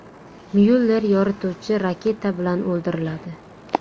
Myuller yorituvchi raketa bilan o‘ldiriladi.